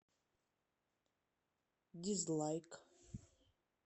дизлайк